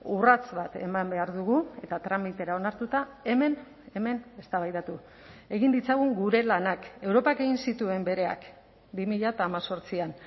urrats bat eman behar dugu eta tramitera onartuta hemen hemen eztabaidatu egin ditzagun gure lanak europak egin zituen bereak bi mila hemezortzian